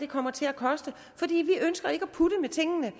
kommer til at koste fordi vi ønsker ikke at putte med tingene